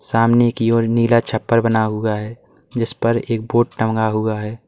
सामने की ओर नीला छप्पर बना हुआ है जिस पर एक बोर्ड टंगा हुआ है।